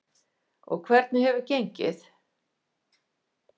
Jóhanna Margrét Gísladóttir: Og hvernig hefur gengið?